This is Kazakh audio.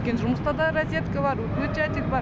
өйткені жұмыста да разетка бар включатель бар